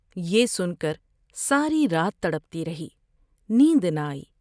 یہ سن کر ساری رات تڑپتی رہی ، نیند نہ آئی ۔